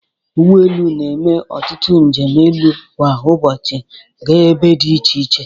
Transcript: Ụgbọ elu na-eme ọtutu njem elu kwa ụbọchị gaa ebe dị iche iche.